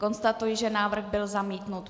Konstatuji, že návrh byl zamítnut.